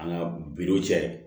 An ka biw cɛ